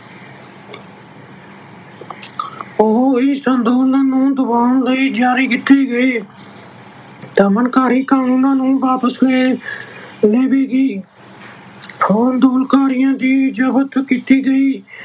ਉਹ ਇਸ ਅੰਦੋਲਨ ਨੂੰ ਦਬਾਉਣ ਲਈ ਜਾਰੀ ਕੀਤੇ ਗਏ ਦਮਨਕਾਰੀ ਕਾਨੂੰਨਾਂ ਨੂੰ ਵਾਪਸ ਲੈ ਲਵੇਗੀ। ਅੰਦੋਲਨਕਾਰੀਆਂ ਦੀ ਜਬਤ ਕੀਤੀ ਗਈ